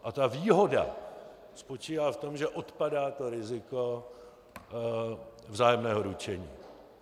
A ta výhoda spočívá v tom, že odpadá to riziko vzájemného ručení.